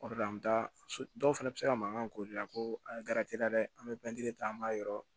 O de la an bɛ taa so dɔw fana bɛ se ka mankan k'o de la ko an ye ta dɛ an bɛ ta an b'a yɔrɔ